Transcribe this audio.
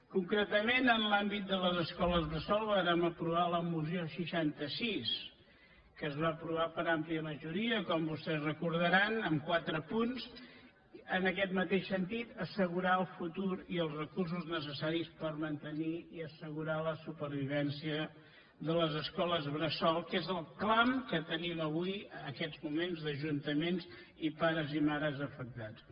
concretament en l’àmbit de les escoles bressol vàrem aprovar la moció seixanta sis que es va aprovar per àmplia majoria com vostès recordaran amb quatre punts en aquest mateix sentit assegurar el futur i els recursos necessaris per mantenir i assegurar la supervivència de les escoles bressol que és el clam que tenim avui en aquests moments d’ajuntaments i pares i mares afectats